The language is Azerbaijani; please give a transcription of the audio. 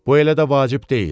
Bu elə də vacib deyil.